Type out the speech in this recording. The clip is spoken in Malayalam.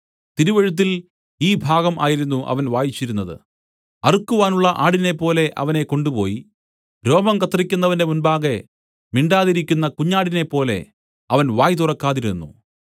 തിരുവെഴുത്തിൽ ഈ ഭാഗം ആയിരുന്നു അവൻ വായിച്ചിരുന്നത് അറുക്കുവാനുള്ള ആടിനേപ്പോലെ അവനെ കൊണ്ടുപോയി രോമം കത്രിക്കുന്നവന്റെ മുമ്പാകെ മിണ്ടാതിരിക്കുന്ന കുഞ്ഞാടിനെപ്പോലെ അവൻ വായ് തുറക്കാതിരുന്നു